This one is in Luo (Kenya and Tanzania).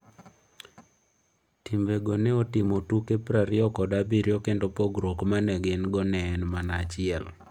Timgo ne otimo tuke prariyokod abirio kendo pogruok ma ne gin-go ne en mana achiel.